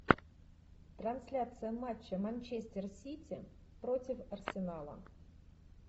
трансляция матча манчестер сити против арсенала